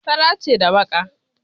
Fara ce da baƙa.